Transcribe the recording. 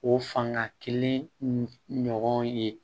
O fanga kelen ɲɔgɔn ye